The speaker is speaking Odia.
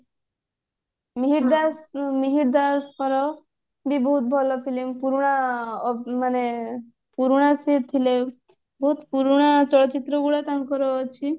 ମିହିର ଦାସ ମିହିର ଦାସଙ୍କର ବି ବହୁତ ଭଲ film ପୁରୁଣା ଅ ମାନେ ପୁରୁଣା ସିଏ ଥିଲେ ବହୁତ ପୁରୁଣା ଚଳଚିତ୍ର ଗୁଡା ତାଙ୍କର ଅଛି